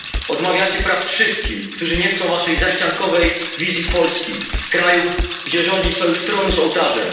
Odmawiacie praw wszystkim, którzy nie chcą waszej zaściankowej wizji Polski kraju, gdzie rządzi sojusz tronu z ołtarzem.